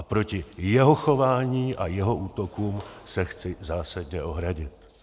A proti jeho chování a jeho útokům se chci zásadně ohradit.